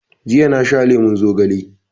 Jiya na sha lemon zogale